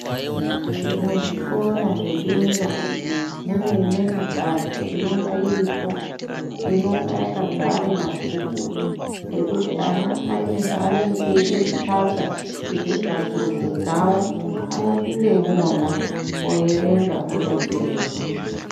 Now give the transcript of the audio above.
Muzvikora zvebera mune imweni mbatso inonga iripo, inonga yakazare mabhuku ekuti ana ane zveenenge eide kutsvaka kuite tsvakurudzo dzavo, unopinde imona oerenga odetsereka.